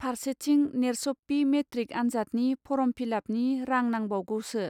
फार्सेथिं नेर्सोपपि मेट्रिक आनजातनि फरम फिलापनि रां नांबावगौसो.